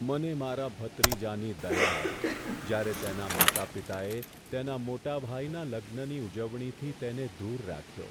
મને મારા ભત્રીજાની દયા આવી, જ્યારે તેનાં માતા પિતાએ તેના મોટા ભાઈના લગ્નની ઉજવણીથી તેને દૂર રાખ્યો.